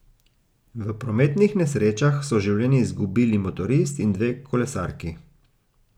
V prometnih nesrečah so življenje izgubili motorist in dve kolesarki.